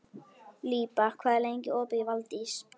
Líba, hvað er lengi opið í Valdís?